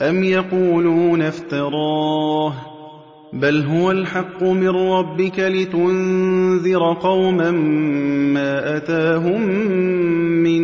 أَمْ يَقُولُونَ افْتَرَاهُ ۚ بَلْ هُوَ الْحَقُّ مِن رَّبِّكَ لِتُنذِرَ قَوْمًا مَّا أَتَاهُم مِّن